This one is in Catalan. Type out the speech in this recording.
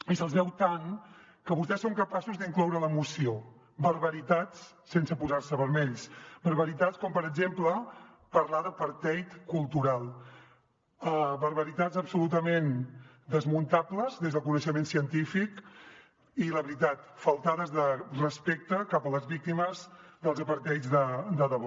i se’ls veu tant que vostès són capaços d’incloure a la moció barbaritats sense posar se vermells barbaritats com per exemple parlar d’apartheid cultural barbaritats absolutament desmuntables des del coneixement científic i la veritat faltades de respecte cap a les víctimes dels apartheids de debò